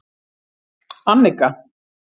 Annika